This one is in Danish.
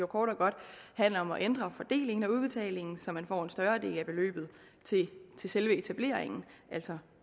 kort og godt handler om at ændre fordelingen af udbetalingen så man får en større del af beløbet til selve etableringen altså